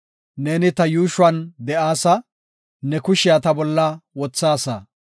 Neeni ta yuushuwan de7aasa; ne kushiya ta bolla wothaasa.